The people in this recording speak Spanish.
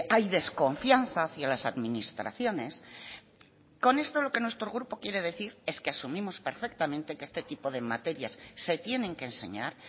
hay desconfianza hacia las administraciones con esto lo que nuestro grupo quiere decir es que asumimos perfectamente que este tipo de materias se tienen que enseñar